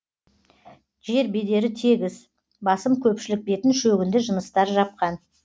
жер бедері тегіс басым көпшілік бетін шөгінді жыныстар жапқан